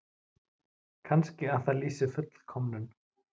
Kannski að það lýsi fullkomnun?